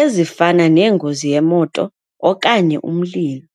ezifana nengozi yemoto okanye umlilo.